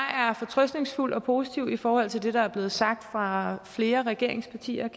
fortrøstningsfuld og positiv i forhold til det der er blevet sagt fra flere regeringspartiers